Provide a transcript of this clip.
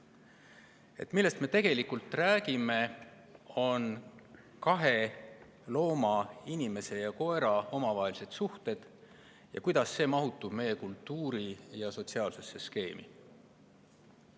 See, millest me tegelikult räägime, on kahe looma – inimese ja koera – omavahelised suhted ja kuidas see mahutub meie kultuuri- ja sotsiaalsesse skeemi.